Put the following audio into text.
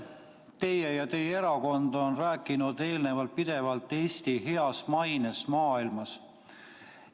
Teie ja teie erakond olete eelnevalt pidevalt rääkinud Eesti heast mainest maailmas.